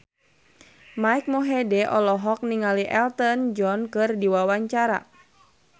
Mike Mohede olohok ningali Elton John keur diwawancara